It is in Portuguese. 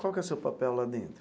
Qual que é o seu papel lá dentro?